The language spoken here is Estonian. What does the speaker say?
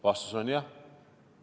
Vastus on jah.